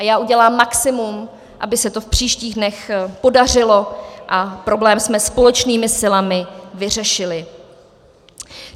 A já udělám maximum, aby se to v příštích dnech podařilo a problém jsme společnými silami vyřešili.